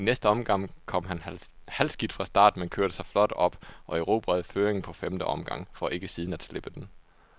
I næste omgang kom han halvskidt fra start, men kørte sig flot op og erobrede føringen på femte omgang, for ikke siden at slippe den.